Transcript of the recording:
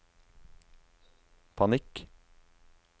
panikk